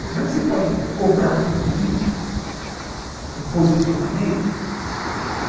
Como é que você pode cobrar de um político um posicionamento?